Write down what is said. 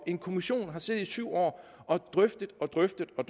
en kommission har siddet i syv år og drøftet og drøftet og